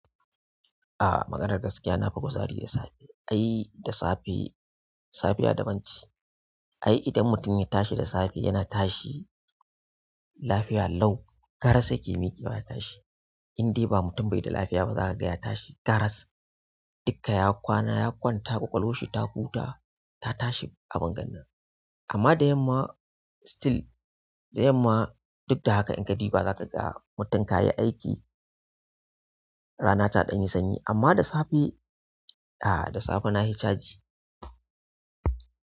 Ah, maganar gaskiya na fi kuzari da safe. Ai da safe, safiya daban ce ai idan mutum ya tashi da safe yana tashi lafiya lau. Garas yake miƙewa ya tashi. Indai ba mutum bai da lafiya bah zakaga ya tashi garas duka ya kwana, ya kwanta ƙwaƙwalwarshi ta huta, ta tashi abin ganna. Amma da yamma still, da yamma duk da haka in ka ɗiba za ka ga mutum ka yi aiki rana ta ɗan yi sanyi. Amma da safe, ah da safe na fi chaji.